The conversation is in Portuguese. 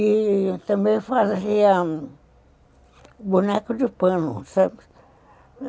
E também fazia boneco de pano, sabe?